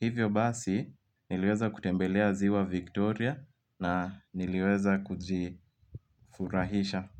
Hivyo basi, niliweza kutembelea ziwa Victoria na niliweza kujifurahisha.